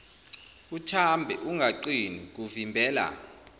uthambe ungaqini kuvimbela